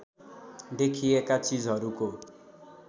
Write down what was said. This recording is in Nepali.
देखिएका चिजहरूको